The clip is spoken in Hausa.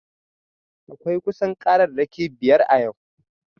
Akwai kusan kararraki biyar a yau